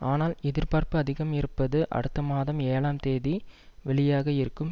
ஆனால் எதிர்பார்ப்பு அதிகம் இருப்பது அடுத்த மாதம் ஏழாம் தேதி வெளியாக இருக்கும்